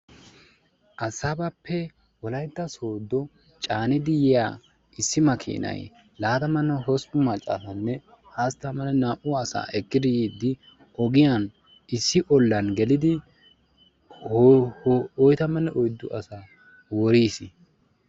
Adisaabappe wolayta sodo caanidi yiyaa issi makinaay laatamanne hosppun macca asanne hastamanne naa"u attuma asaa ekidi yiidi ogiyaan issi olaan geelidi hoo oytamanne oyddu asaa woriis.